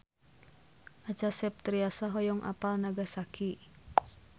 Acha Septriasa hoyong apal Nagasaki